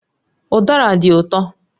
Udara dị ụtọ